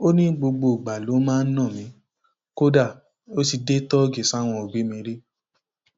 ó ní gbogbo ìgbà ló máa ń ná mi kódà ó ti dé tóògìdì sí àwọn òbí mi rí